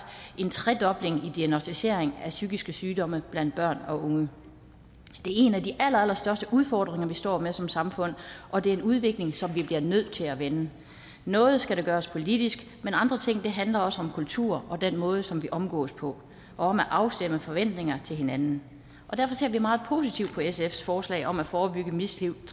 en tredobling af antallet af diagnosticerede psykiske sygdomme blandt børn og unge det er en af de allerallerstørste udfordringer vi står med som samfund og det er en udvikling som vi bliver nødt til at vende noget skal gøres politisk men andre ting handler også om kultur og den måde som vi omgås på og om at afstemme forventninger til hinanden derfor ser vi meget positivt på sfs forslag om at forebygge mistrivslen